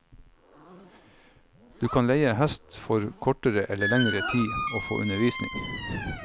Du kan leie hest for kortere eller lengre tid og få undervisning.